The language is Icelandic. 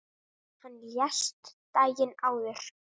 Hann lést daginn áður.